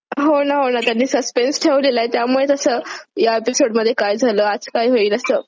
हो ना हो ना त्यांनी सस्पेन्स ठेवलेलाय त्यामुळे तस या एपिसोड मध्ये काय झालं आज काय होईल असं.